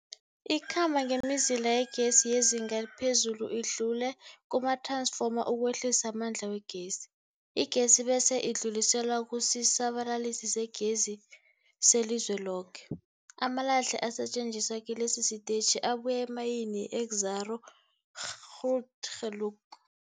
Ikhamba ngemizila yegezi yezinga eliphezulu idlule kumath-ransfoma ukwehlisa amandla wegezi. Igezi bese idluliselwa kusisa-balalisigezi selizweloke. Amalahle asetjenziswa kilesi sitetjhi abuya emayini yeExxaro's Grootgeluk.